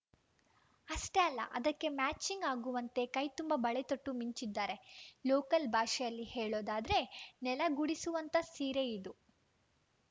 ಅಷ್ಟೇ ಅಲ್ಲ ಅದಕ್ಕೆ ಮ್ಯಾಚಿಂಗ್‌ ಆಗುವಂತೆ ಕೈ ತುಂಬ ಬಳೆತೊಟ್ಟು ಮಿಂಚಿದ್ದಾರೆ ಲೋಕಲ್‌ ಭಾಷೆಯಲ್ಲಿ ಹೇಳೋದಾದ್ರೆ ನೆಲ ಗುಡಿಸುವಂಥ ಸೀರೆ ಇದು